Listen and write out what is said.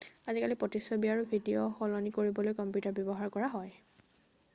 আজিকালি প্ৰতিচ্ছবি আৰু ভিডিঅ' সলনি কৰিবলৈ কম্পিউটাৰ ব্যৱহাৰ কৰা হয়